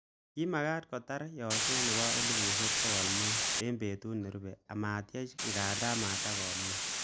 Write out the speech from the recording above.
Kimakat kotar yakset nebo elibushek bokol mut betut nerube amatyech nganda matikomuch